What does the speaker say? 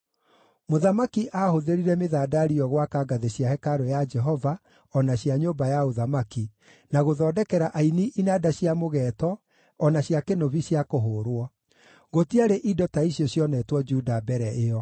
Mũthamaki aahũthĩrire mĩthandari ĩyo gwaka ngathĩ cia hekarũ ya Jehova o na cia nyũmba ya ũthamaki, na gũthondekera aini inanda cia mũgeeto o na cia kĩnũbi cia kũhũũrwo. Gũtiarĩ indo ta icio cionetwo Juda mbere ĩyo.)